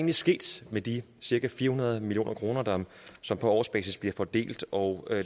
er sket med de cirka fire hundrede million kr som på årsbasis bliver fordelt og